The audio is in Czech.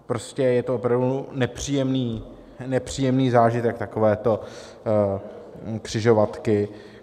Prostě je to opravdu nepříjemný zážitek, takovéto křižovatky.